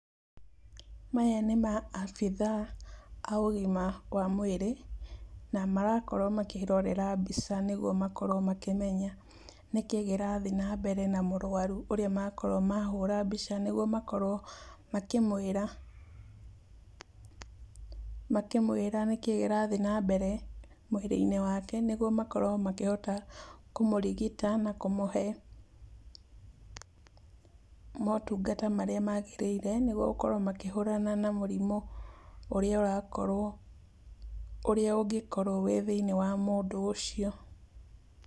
Maya nĩ maabitha a ũgima wa mwĩrĩ, na marakorwo makĩĩrorera mbica nĩguo makorwo makĩmenya nĩkĩĩ gĩrathii na mbere a mũrũaru ũria makorwo mahũra mbica nĩguo makorwo makĩmũĩra. Makĩmũĩra nĩkĩĩ gĩrathiĩ na mbere mwĩrĩ-ini wake, nĩguo makorwo makĩhota kũmũrigita na kũmũhe motungata marĩa magĩrĩire nĩguo kũhũrana na mũrimũ ũrĩa ũrakorwo, ũrĩa ũngĩkorwo wĩ thĩinĩ wa mũndũ ũcio.